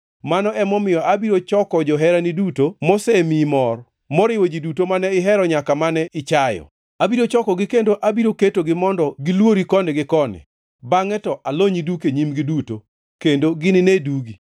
mano emomiyo abiro choko joherani duto mosemiyi mor, moriwo ji duto mane ihero nyaka mane ichayo. Abiro chokogi kendo abiro ketogi mondo gilwori koni gi koni, bangʼe to alonyi duk e nyimgi duto, kendo ginine dugi.